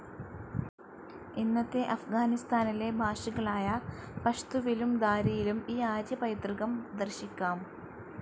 ഇന്നത്തെ അഫ്ഗാനിസ്താനിലെ ഭാഷകളായ പഷ്തുവിലും ദാരിയിലും ഈ ആര്യപൈതൃകം ദർശിക്കാം.